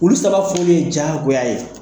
Olu sababu ninnu ye diyagoa ye.